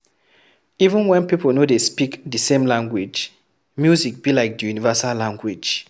Even when pipo no dey speak di same language, music be like di universal language